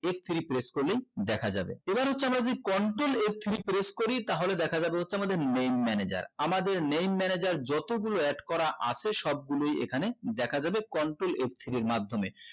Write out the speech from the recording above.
f three press করলেই দেখা যাবে এবার হচ্ছে আমরা যে contrel f three press করি তাহলে দেখা যাবে হচ্ছে আমাদের main manager আমদের main manager যতগুলো add করা আছে সবগুলোই এখানে দেখা যাবে control f three মাধ্যমে